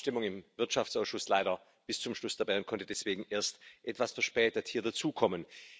Ich war bei der Abstimmung im Wirtschaftsausschuss bis zum Schluss dabei und konnte deswegen erst etwas verspätet hier dazukommen.